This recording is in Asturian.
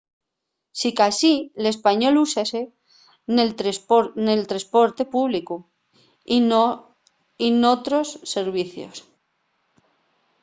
sicasí l'español úsase nel tresporte públicu y n'otros servicios